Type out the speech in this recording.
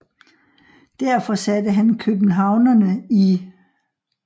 Derfor satte han københavnerne i 1